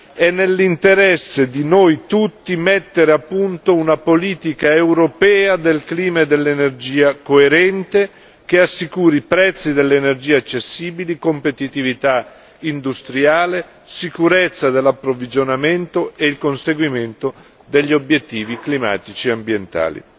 È nell'interesse di noi tutti, mettere a punto una politica europea del clima e dell'energia coerente, che assicuri i prezzi dell'energia accessibili, competitività industriale, sicurezza dell'approvvigionamento e il conseguimento degli obiettivi climatici e ambientali.